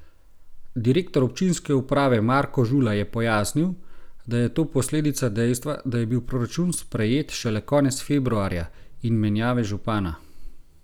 Direktor občinske uprave Marko Žula je pojasnil, da je to posledica dejstva, da je bil proračun sprejet šele konec februarja, in menjave župana.